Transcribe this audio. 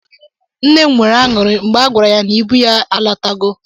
Nna m nwere añụrị mgbe a gwara ya n'ibu ya alatago.